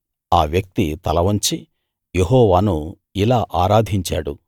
ఆ వ్యక్తి తల వంచి యెహోవాను ఇలా ఆరాధించాడు